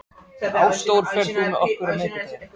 Ásdór, ferð þú með okkur á miðvikudaginn?